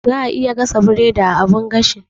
Za'a iya gasa biredi a abun gashi.